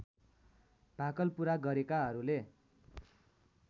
भाकल पूरा गरेकाहरूले